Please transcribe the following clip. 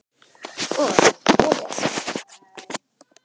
Og lesa.